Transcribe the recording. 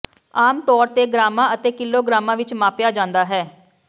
ਆਮ ਤੌਰ ਤੇ ਗ੍ਰਾਮਾਂ ਅਤੇ ਕਿਲੋਗ੍ਰਾਮਾਂ ਵਿੱਚ ਮਾਪਿਆ ਜਾਂਦਾ ਹੈ